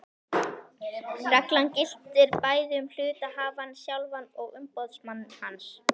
Reglan gildir bæði um hluthafann sjálfan og umboðsmann hans.